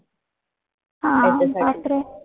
हां बापरे.